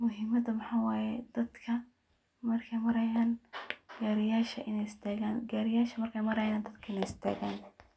Muhimada waxa waye dadka markey marayan gariyasha iney istagan, gariyasha markey marayan dadka iney istagan.